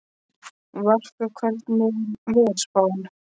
Valka, hvernig er veðurspáin?